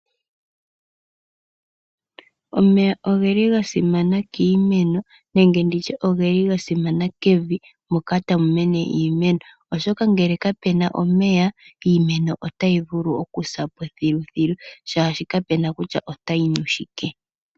Omeya oge li ga simana kiimeno, nenge ndi tye oge li ga simana kevi moka tamu mene iimeno. Oshoka ngele kapu na omeya, iimeno otayi vulu okusa po thiluthilu shaashi kapu na kutya otayi nu shike.